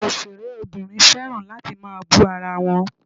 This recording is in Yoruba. Àwọn òṣèré obìnrin fẹ́ràn láti máa bú ara wọn.